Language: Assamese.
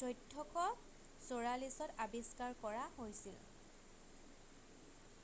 ১৪৪৪-ত আৱিষ্কাৰ কৰা হৈছিল১৪১৮ – ১৪৫০।""